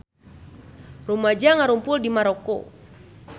Rumaja ngarumpul di Maroko